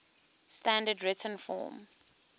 standard written form